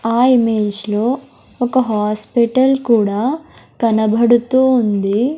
ఆ ఇమేజ్ లో ఒక హాస్పెటల్ కూడా కనబడుతూ ఉంది.